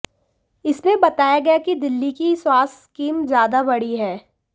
इसमें बताया गया कि दिल्ली की स्वास्थ्य स्कीम ज्यादा बड़ी है